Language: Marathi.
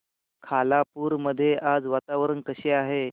खालापूर मध्ये आज वातावरण कसे आहे